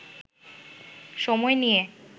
সময় নিয়ে